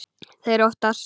Þeir óttast.